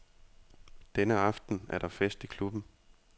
Denne aften er der fest i klubben.